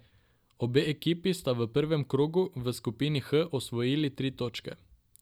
Obe ekipi sta v prvem krogu v skupini H osvojili tri točke.